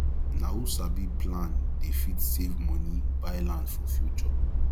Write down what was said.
na who sabi plan dey fit save money buy land for future